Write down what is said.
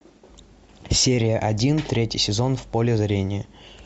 серия один третий сезон в поле зрения